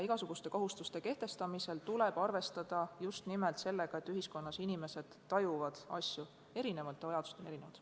Igasuguste kohustuste kehtestamisel tuleb arvestada just nimelt sellega, et ühiskonnas inimesed tajuvad asju erinevalt ja vajadused on erinevad.